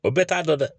O bɛɛ t'a dɔn dɛ